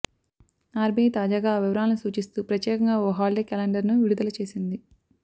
RBI తాజాగా ఆ వివరాలను సూచిస్తూ ప్రత్యేకంగా ఓ హాలీడే క్యాలెండర్ను విడుదల చేసింది